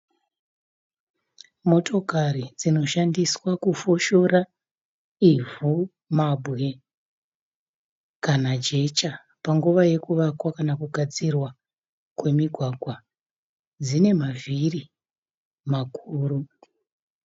Motokari dzinoshandiswa kufoshora ivhu, mabwe kana jecha panguva yekuvakwa kana kugadzirwa kwemigwagwa. Dzine mavhiri makuru.